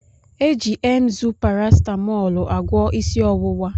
Eji Emzú paracetamôôlu agwo isi owuwa.